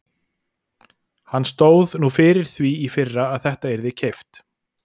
Hann stóð nú fyrir því í fyrra að þetta yrði keypt.